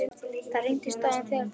Það hriktir í stoðum þessa þjóðfélags.